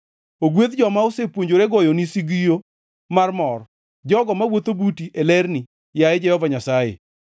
Ogwedh joma osepuonjore goyoni sigio mar mor, jogo mawuotho buti e lerni, yaye Jehova Nyasaye.